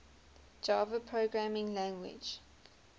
java programming language